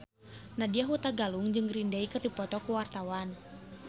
Nadya Hutagalung jeung Green Day keur dipoto ku wartawan